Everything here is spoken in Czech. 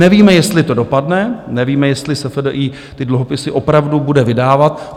Nevíme, jestli to dopadne, nevíme, jestli SFDI ty dluhopisy opravdu bude vydávat.